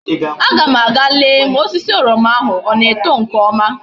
A ga m aga lee ma osisi oroma ahu a na eto nke oma